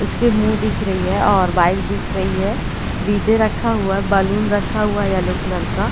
उसके मुँह दिख रही है और बाइक दिख रही है डी_जे रखा हुआ है बैलून रखा हुआ है येलो कलर का --